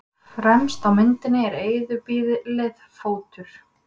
Fremst á myndinni er eyðibýlið Fótur.